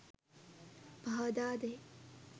පහදා දෙයි.